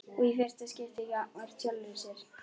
Og í fyrsta skipti gagnvart sjálfri sér.